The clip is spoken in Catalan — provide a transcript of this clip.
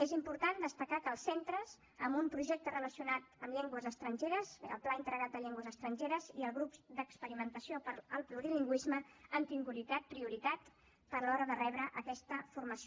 és important destacar que els centres amb un projecte relacionat amb llengües estrangeres el pla integrat de llengües estrangeres i el grup d’experimentació per al plurilingüisme han tingut prioritat a l’hora de rebre aquesta formació